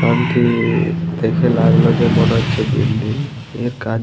কারণ কি দেখে লাগলো যে দেখে মনে হচ্ছে বিল্ডিং । এ কাজ --